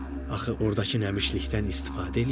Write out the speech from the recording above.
Axı ordakı nəmişlikdən istifadə eləyə bilərdi.